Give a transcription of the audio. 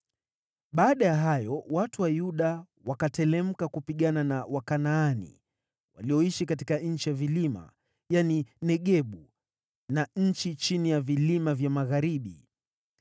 Baada ya hayo, watu wa Yuda wakateremka kupigana na Wakanaani walioishi katika nchi ya vilima, yaani, Negebu na nchi chini ya vilima vya magharibi.